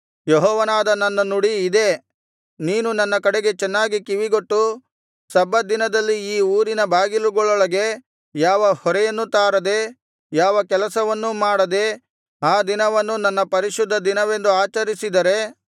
ಯೆಹೋವನಾದ ನನ್ನ ನುಡಿ ಇದೇ ನೀನು ನನ್ನ ಕಡೆಗೆ ಚೆನ್ನಾಗಿ ಕಿವಿಗೊಟ್ಟು ಸಬ್ಬತ್ ದಿನದಲ್ಲಿ ಈ ಊರಿನ ಬಾಗಿಲುಗಳೊಳಗೆ ಯಾವ ಹೊರೆಯನ್ನೂ ತಾರದೆ ಯಾವ ಕೆಲಸವನ್ನೂ ಮಾಡದೆ ಆ ದಿನವನ್ನು ನನ್ನ ಪರಿಶುದ್ಧ ದಿನವೆಂದು ಆಚರಿಸಿದರೆ